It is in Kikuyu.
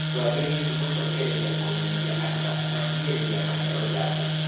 Twagĩrĩirwo nĩ gũcokereria kũmenyithia andũ na kũmahinyĩrĩria maheo njanjo